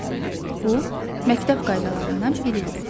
Bu məktəb qaydalarından biridir.